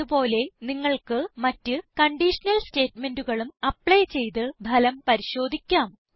അത് പോലെ നിങ്ങൾക്ക് മറ്റ് കൺഡീഷനൽ സ്റ്റേറ്റ്മെന്റുകളും അപ്ലൈ ചെയ്ത് ഫലം പരിശോധിക്കാം